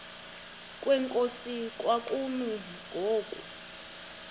kwenkosi kwakumi ngoku